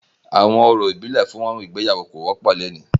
Awọn orȯ ibile fun igbeyawo ko wọpọ loni.